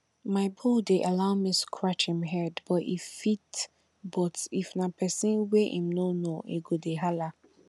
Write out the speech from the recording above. my bull dey allow me scratch em head but if but if na pesin wey em no know e go dey hala